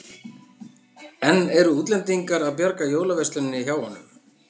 En eru útlendingar að bjarga jólaversluninni hjá honum?